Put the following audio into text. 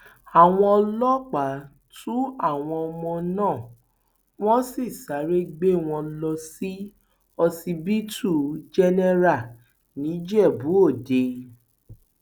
àwọn ọlọpàá tu àwọn ọmọ náà wọn sì sáré gbé wọn lọ sí ọsibítù jẹnẹra nìjẹbùòde